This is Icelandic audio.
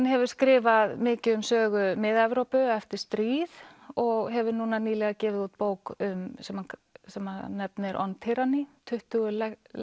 hefur skrifað mikið um sögu Mið Evrópu eftir stríð og hefur núna nýlega gefið út bók sem hann nefnir on tuttugu